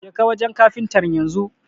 Jeka wanjen kafintan yanzu